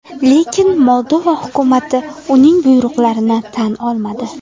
Lekin Moldova hukumati uning buyruqlarini tan olmadi.